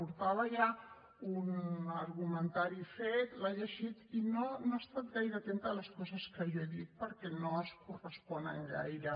portava ja un argumentari fet l’ha llegit i no ha estat gaire atenta a les coses que jo he dit perquè no es corresponen gaire